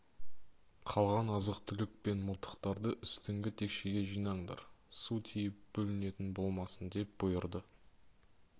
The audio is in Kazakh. қалған азық-түлік пен мылтықтарды үстіңгі текшеге жинаңдар су тиіп бүлінетін болмасын деп бұйырды